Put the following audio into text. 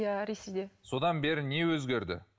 иә ресейде содан бері не өзгерді